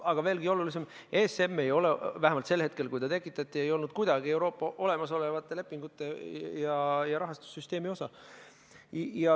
Aga veelgi olulisem, ESM ei ole, vähemalt sel hetkel, kui ta tekitati, ei olnud ta kuidagi Euroopa olemasolevate lepingute ja rahastussüsteemi osa.